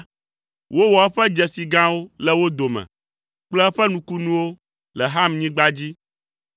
Wowɔ eƒe dzesi gãwo le wo dome kple eƒe nukunuwo le Hamnyigba dzi.